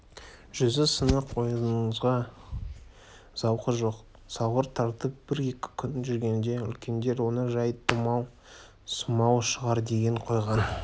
жүзі сынық ойынға зауқы жоқ салғырт тартып бір-екі күн жүргенде үлкендер оны жай тұмау-сұмау шығар деген де қойған